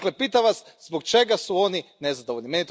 Dakle, pitam Vas, zbog čega su oni nezadovoljni?